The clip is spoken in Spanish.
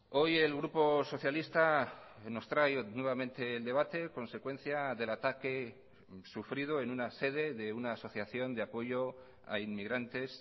hoy el grupo socialista nos trae nuevamente el debate consecuencia del ataque sufrido en una sede de una asociación de apoyo a inmigrantes